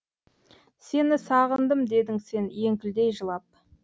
сені сағындым дедің сен еңкілдей жылап